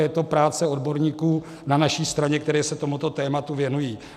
Je to práce odborníků na naší straně, kteří se tomuto tématu věnují.